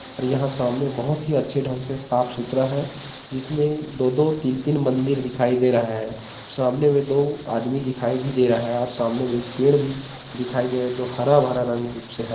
और यहाँ सामने बहोत ही अच्छे ठंग से साफ सुथरा है जिसमे दो दो तीन तीन मंदिर दिखाई दे रहे है सामने में दो आदमी दिखाई भी दे रहा है और सामने में एक पेड़ भी दिखाई दे रहा है जो हरा भरा रंग रूप से है।